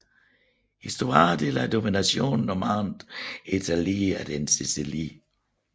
Histoire de la domination normande en Italie et en Sicilie